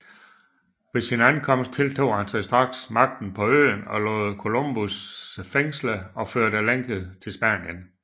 Ved sin Ankomst tiltog han sig straks Magten paa Øen og lod Kolumbus fængsle og føre lænket til Spanien